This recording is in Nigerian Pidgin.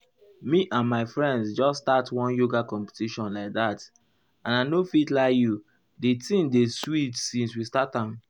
me and my friends just start one yoga competition like that and i not fit lie you di thing dey sweet since we start am.